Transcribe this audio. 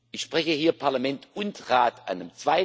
Ich spreche hier Parlament und Rat